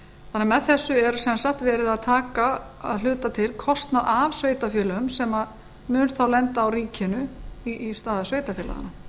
með þessu er sem sagt verð að taka að hluta til kostnað af sveitarfélögum sem mun þá lenda á ríkinu í stað sveitarfélaganna